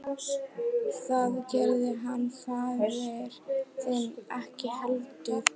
Það gerði hann faðir þinn ekki heldur.